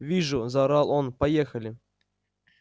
вижу заорал он поехали